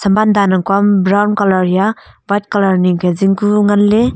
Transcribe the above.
thaman dan nag kya brown colour hiya white colour ni ga jingkunngan le.